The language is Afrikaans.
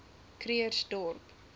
krugersdorp